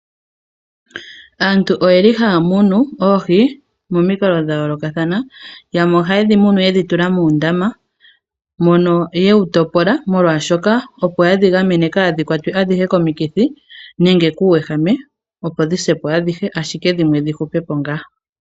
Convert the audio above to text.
Aantu oyeli haya munu oohi momikalo dha yoolokathana, yamwe ohaye dhi munu yedhi tula muundama, mono yewu topola molwaashoka opo yedhi gamene kaa dhi kwatwe adhihe komikithi nenge kuuwehame, opo dhi se po adhihe, ashike dhimwe dhi hupe po ngaa.